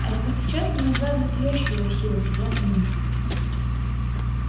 а вот сейчас мы узнаем настоящую его силу сказал комендант